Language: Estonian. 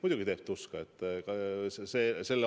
Muidugi teeb tuska.